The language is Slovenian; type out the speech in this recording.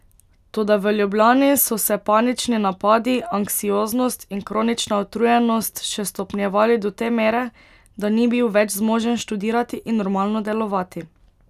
Toda v Ljubljani so se panični napadi, anksioznost in kronična utrujenost še stopnjevali do te mere, da ni bil več zmožen študirati in normalno delovati.